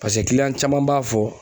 Paseke caman b'a fɔ